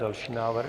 Další návrh.